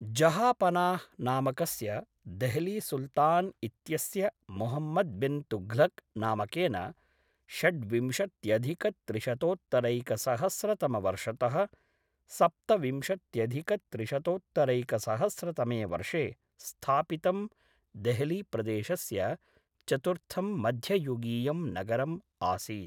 जहापनाह् नामकस्य देहलीसुल्तान् इत्यस्य मुहम्मद् बिन्तुघ्लक् नामकेन षड्विंशत्यधिकत्रिशतोत्तरैकसहस्रतमवर्षतः सप्तविंशत्यधिकत्रिशतोत्तरैकसहस्रतमे वर्षे स्थापितं देहलीप्रदेशस्य चतुर्थं मध्ययुगीयं नगरम् आसीत्।